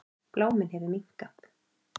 Bláminn hefur minnkað.